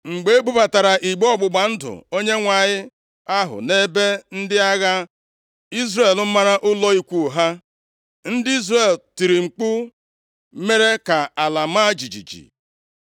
Mgbe e bubatara igbe ọgbụgba ndụ Onyenwe anyị ahụ nʼebe ndị agha Izrel mara ụlọ ikwu ha, ndị Izrel tiri mkpu mere ka ala maa jijiji.